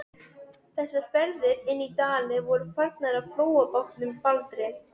Hún hefur löngum verið föðurbetrungur, svaraði biskup.